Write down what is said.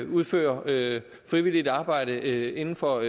udfører frivilligt arbejde inden for